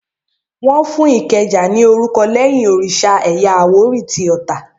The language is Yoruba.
Wọ́n Ìkẹjà ní orúkọ lẹ́yìn òrìsà ẹ̀yà àwórì tí Ota